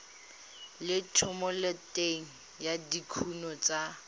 le thomeloteng ya dikuno tsa